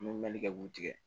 N bɛ mɛnli kɛ k'u tigɛ